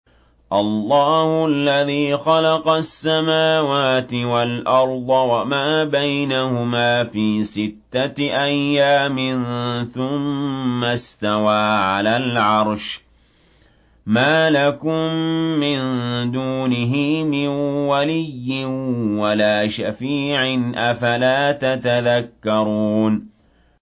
اللَّهُ الَّذِي خَلَقَ السَّمَاوَاتِ وَالْأَرْضَ وَمَا بَيْنَهُمَا فِي سِتَّةِ أَيَّامٍ ثُمَّ اسْتَوَىٰ عَلَى الْعَرْشِ ۖ مَا لَكُم مِّن دُونِهِ مِن وَلِيٍّ وَلَا شَفِيعٍ ۚ أَفَلَا تَتَذَكَّرُونَ